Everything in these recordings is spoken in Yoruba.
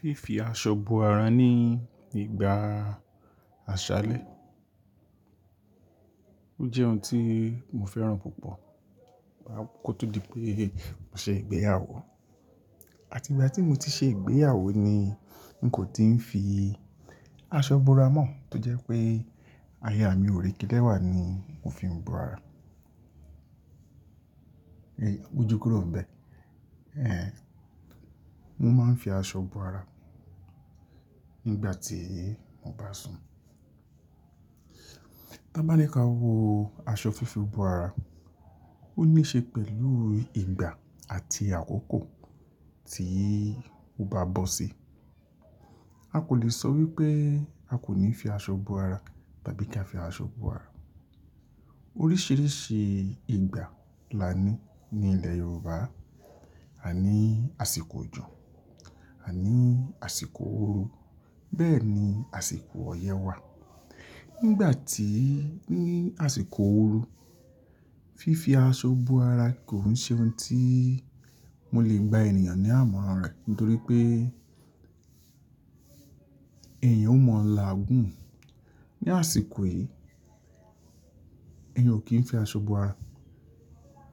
Fífi aṣọ bo ara ní ìgbà àṣálẹ́ jẹ́ ohun tí mo fẹ́ràn púpọ̀ kó tó di pé mò ṣe ìgbéyàwó. Àti ìgbà tí mo ti ṣe ìgbéyàwó ni mo kò tíì fi aṣọ bo ara mọ́, tó jẹ́ pé aya mi ò rí kílẹ̀wá ni mo fi ń bo ara. Mójú kúrò níbẹ̀, mo máa ń fi aṣọ bo ara nígbà tí mo bá sùn. Tá bá ní ká wo aṣọ fífi bo ara, ó níí ṣe pẹ̀lú ìgbà àti àkókò tí o bá bọ́ sí i. A kò le sọ wípé a kò ní fi aṣọ bo ara tàbí kí a fi aṣọ bo ara. Oríṣiríṣi ìgbà la ní ní ilẹ̀ Yorùbá. A ní àsìkò òjò, à ní àsìkò ooru, bẹ́ẹ̀ ni àsìkò ọyẹ́ wà. Nígbà tí-- ní àsìkò ooru, fífi aṣọ bo ara kò ń ṣe ohun tí mo lè gbà ènìyàn ní àmọ̀ran rẹ̀, nítorí pé èèyàn ó maa lá òogùn. Ni àsìkò yìí, èmi ò kí ń fi aṣọ bo ara.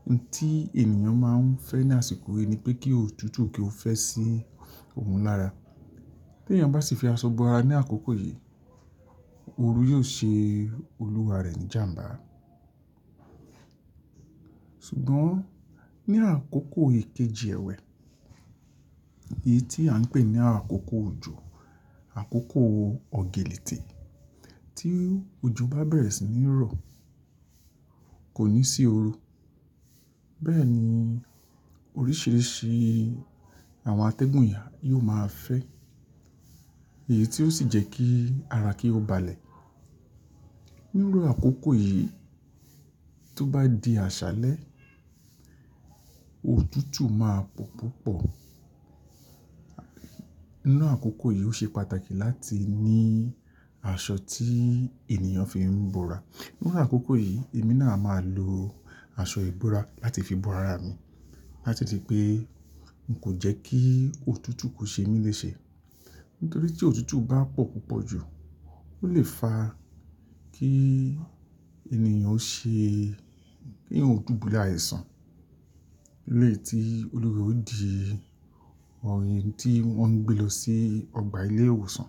Ohun tí ènìyàn máa ń fẹ́ ní àsìkò yìí ni pé kí òtútù kí ó fẹ́ sí òun lára. Bí èèyàn bá sì fi aṣọ bo ara ní àkókò yìí, ooru yóò ṣe olúwa rẹ̀ ní ìjàǹbá. Ṣùgbọ́n ní àkókò ìkejì ẹ̀wẹ́, èyí tí à ń pè ní àkókò òjò, àkókò ọ̀gẹ̀lẹ̀tẹ̀, tí òjò bá bẹ̀rẹ̀ sí ní rọ̀, kò ní sí ooru. Bẹ́ẹ̀ ni oríṣiríṣi àwọn atẹ́gùn ìyà yóò máa fẹ́, èyí tí ó sì jẹ́ kí ara kí ó ba lẹ̀. Ní irú àkókò yìí, tó bá di àṣálẹ́, òtútù máa pọ̀ púpọ̀. Nínú àkókò yìí ó ṣe pàtàkì láti ní aṣọ tí ènìyàn fi ń bo ara. Nínú àkókò yìí, èmi náà máa lo aṣọ ìbora láti fi bo ara mi, láti di pé n kò jẹ́ kí òtútù kó ṣe mí léṣe. Nítorí tí òtútù bá pọ̀ púpọ̀ jù, ó lè fa kí ènìyàn ó ṣe-- kí ènìyàn ó dùbúlẹ̀ àìsàn. Ní èyí tí olúwa ẹ̀ ò dì, ohun tí wọ́n ń gbé lọ sí ọgbà ilé ìwòsàn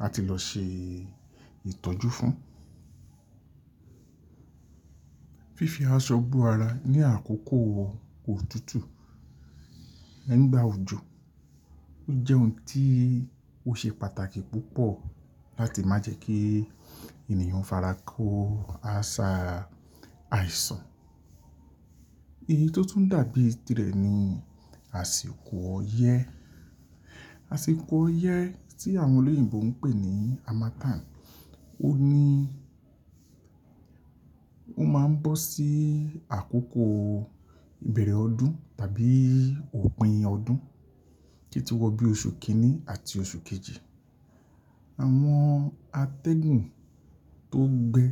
láti lọ ṣe ìtọ́jú fún. Fífi aṣọ bo ara ní àkókò òtútù, nígbà òjò, ó jẹ́ ohun tí ó ṣe pàtàkì púpọ̀ láti má jẹ́ kí ènìyàn fara kó àṣà àìsàn. Èyí tó tún dàbí tirẹ̀ ni àsìkò ọyẹ́. Àsìkò ọyẹ́ tí àwọn olóyìnbo ń pè ní Harmattan, ó ní-- ó máa ń bọ́ sí àkókò ìbẹ̀rẹ̀ ọdún tàbí òpin ọdún, títí wọ bí oṣù kìíní àti oṣù kejì. Àwọn atẹ́gùn tó gbẹ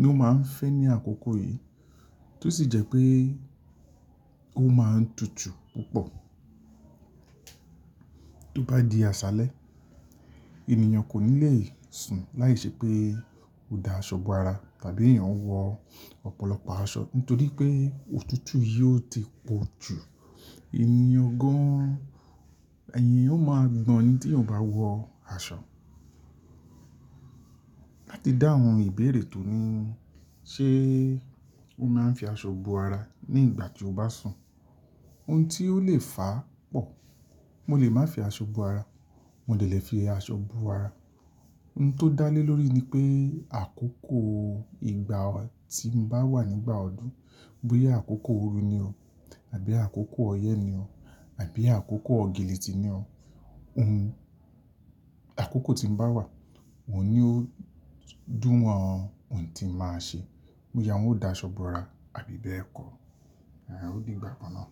ní ó máa ń fẹ́ ní àkókò yìí, tó sì jẹ́ pé ó máa ń tutù púpọ̀. Tó bá di àṣálẹ́, ènìyàn kò ní lè sùn láìṣe pé ó da aṣọ bo ara tàbí èèyàn wọ ọ̀pọ̀lọpọ̀ aṣọ nítorí pé òtútù yìí ó ti pọ̀ jù. Ènìyàn gan, ẹ̀nìyàn ó máa gbọ̀n ni t'éèyàn ò bá wọ aṣọ. Láti dá àwọn ìbéèrè tó ní, ṣe ó máa ń fi aṣọ bo ara nígbà tí o bá sùn? Ohun tí ó lè fà á pọ̀. Mo lè má fi aṣọ bo ara, mo dẹ̀ lè fi aṣọ bo ara. Ohun tó dá lé lórí ni pé àkókò ìgbà tí mo bá wà nígbà ọdún, bóyá àkókò ooru ni o tàbí àkókò ọyẹ́ ni o tàbí àkókò ọ̀gẹ̀lẹ̀ tì ni o. Ohun-- àkókò tí mo bá wà, òun ni ó dùn wọn ohun tí màá ṣe. Bóyá wọn ó da aṣọ bo ara àbí bẹ́ẹ̀ kọ. Ó dìgbà kan náà.